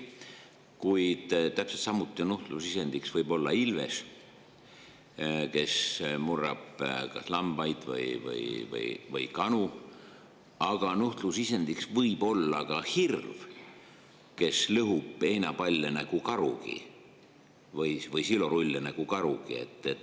Kuid täpselt samuti võib nuhtlusisend olla ilves, kes murrab kas lambaid või kanu, ja nuhtlusisend võib olla ka hirv, kes lõhub heinapalle või silorulle nagu karugi.